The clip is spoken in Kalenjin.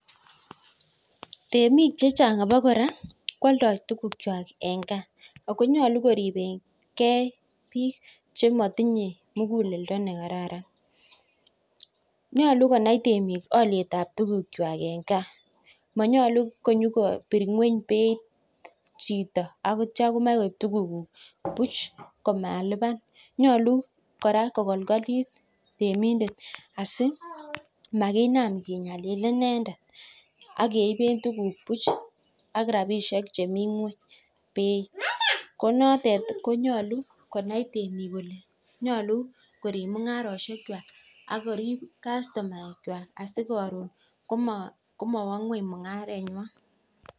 Temik che chang abokora koaldoi tukukwai eng gaa. Ako nyolu koribengei biik chematinyei mugulendo nekararan. Nyolu konai temik olietab tukukwai eng gaa. Manyolu konyokabir ng'weny beit chito aneitio komachei koip tukukuk puch komalipan. Nyolu kora kokolkolit temindet asi makinam kenyalil inendet ak keipe tukuk puch ak rapishek chemi ng'weny beit .Ko notet konyolu konai temik kole nyolu korip mung'aroshekwai ak korip kastomaek kwai asi karon ko mawa ng'weny mungarengwai